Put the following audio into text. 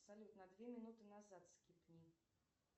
салют на две минуты назад скипни